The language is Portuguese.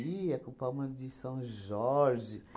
com palma de São Jorge.